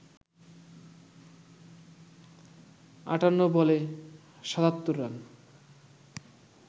৫৮ বলে ৭৭ রান